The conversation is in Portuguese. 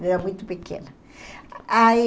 Eu era muito pequena. Aí